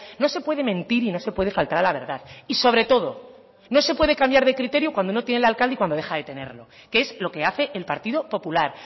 no se puede mentir y no se puede faltar a la verdad y sobre todo no se puede cambiar de criterio cuando no tiene el alcalde y cuando deja de tenerlo que es lo que hace el partido popular